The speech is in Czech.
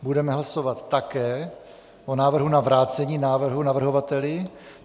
Budeme hlasovat také o návrhu na vrácení návrhu navrhovateli.